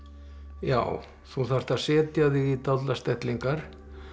já þú þarft að setja þig í dálitlar stellingar